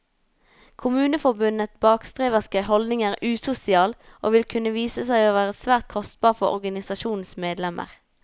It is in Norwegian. Kommuneforbundets bakstreverske holdning er usosial, og vil kunne vise seg å bli svært kostbar for organisasjonens medlemmer.